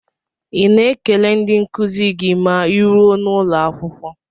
Ị na-ekele ndị nkuzi gị ma ịruo n'ụlọakwụkwọ?